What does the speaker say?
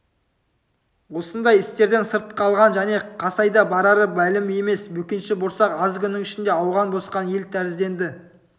осындай істерден сырт қалған және қайда барары мәлім емес бөкенші борсақ аз күннің ішінде ауған босқан ел тәрізденді